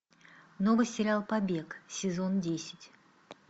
новый сериал побег сезон десять